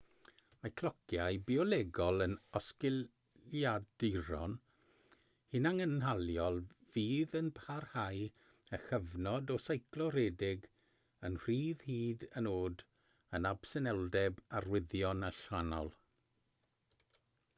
mae clociau biolegol yn osgiliaduron hunangynhaliol fydd yn parhau â chyfnod o seiclo rhedeg yn rhydd hyd yn oed yn absenoldeb arwyddion allanol